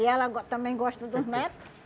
E ela go também gosta dos neto.